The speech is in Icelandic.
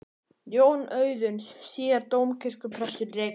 Jón Auðuns, síðar dómkirkjuprestur í Reykjavík.